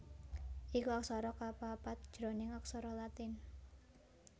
iku aksara kapapat jroning aksara Latin